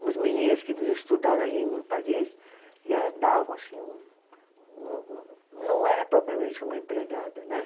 Umas meninas que vinham estudar a língua em Paris e elas davam, assim, um um, um, não era propriamente uma empregada, né?